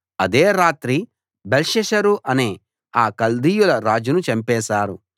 అదే రాత్రి బెల్షస్సరు అనే ఆ కల్దీయుల రాజును చంపేశారు